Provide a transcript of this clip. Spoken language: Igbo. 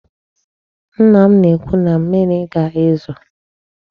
Nna m na-ekwu na mmịrị ga-ezo.